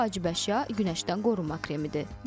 İlk vacib əşya günəşdən qorunma kremidir.